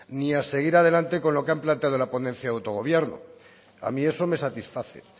ni a seguir adelante con lo que han planteado en la ponencia de autogobierno a mí eso me satisface